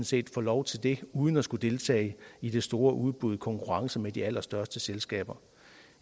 set få lov til det uden at skulle deltage i det store udbud i konkurrence med de allerstørste selskaber